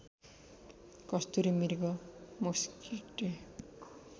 कस्तुरी मृग मोस्किडेई